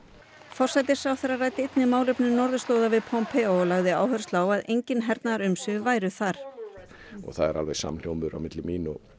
forsætisráðherra ræddi einnig málefni norðurslóða við Pompeo og lagði áherslu á að engin hernaðarumsvif væru þar og það er alveg samhljómur milli mín og